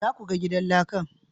Za ku ga gidan lakan?